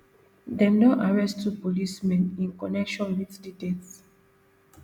dem don arrest two policemen in connection wit di death